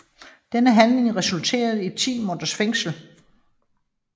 Denne handling resulterede i 10 måneders fængsel